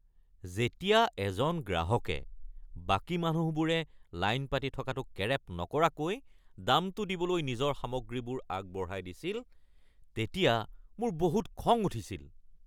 যেতিয়া এজন গ্ৰাহকে বাকী মানুহবোৰে লাইন পাতি থকাটো কেৰেপ নকৰাকৈ দামটো দিবলৈ নিজৰ সামগ্ৰীবোৰ আগবঢ়াই দিছিল তেতিয়া মোৰ বহুত খং উঠিছিল।